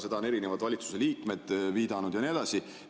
Sellele on erinevad valitsuse liikmed viidanud ja nii edasi.